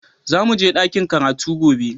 Za mu je dakin karatu gobe